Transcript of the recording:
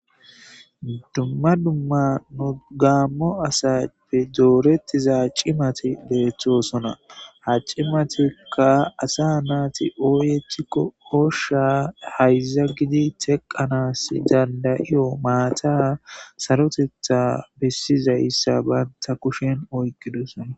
Dumma dumma nu gaammo asappe doorettiza cimati deeththosona ha cimatikka asa naati ooyethikko osha hayza gidi teqanas dandayiyo maata sarotetha bessiza issa banta kushen oyqidosona